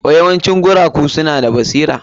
Yawancin guragu suna da basira.